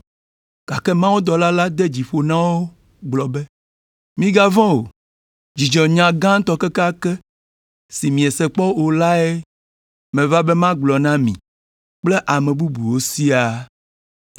gake mawudɔla la de dzi ƒo na wo gblɔ be, “Migavɔ̃ o! Dzidzɔnya gãtɔ kekeake si miese kpɔ o lae meva be magblɔ na mi kple ame bubuwo siaa!